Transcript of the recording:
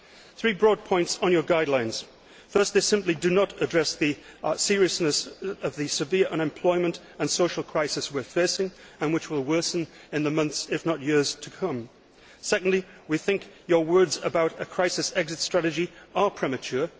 Three broad points on your guidelines Firstly, they simply do not address the seriousness of the severe unemployment and social crisis that we are facing and which will worsen in the months if not years to come. Secondly, we think your words about a crisis exit strategy are premature.